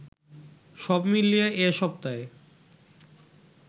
সবমিলিয়ে এ সপ্তায়